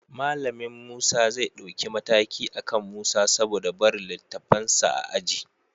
Malamin Musa zai ɗauki mataki akan Musa saboda barin littafansa a aji